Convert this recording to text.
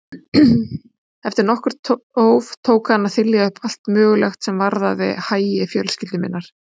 Eftir nokkurt þóf tók hann að þylja upp allt mögulegt sem varðaði hagi fjölskyldu minnar.